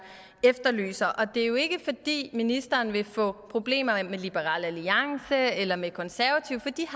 efterlyser det er jo ikke fordi ministeren vil få problemer med liberal alliance eller med de konservative for de